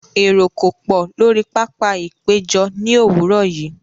Èrò kò pọ̀ lórí pápá-ìpéjọ ní òwúrọ̀ yìí.